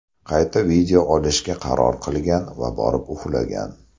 Qayta video olishga qaror qilgan va borib uxlagan.